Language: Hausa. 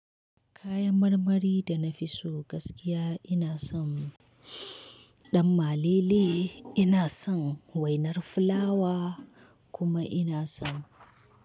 Kayan marmari da na fi so gaskiya ina son ɗan malele, ina son wainar fulawa kuma ina son.